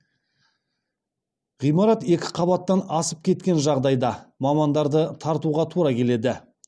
ғимарат екі қабаттан асып кеткен жағдайда мамандарды тартуға тура келеді